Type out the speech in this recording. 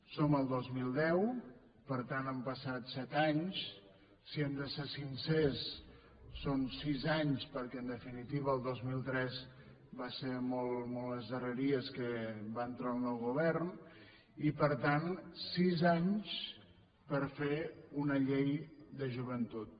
som al dos mil deu per tant han passat set anys si hem de ser sincers són sis anys perquè en definitiva al dos mil tres va ser molt a les darreries que va entrar el nou govern i per tant sis anys per fer una llei de joventut